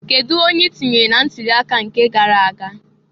Kedu onye i tunyere na ntuli aka nke gara aga?